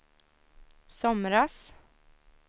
somras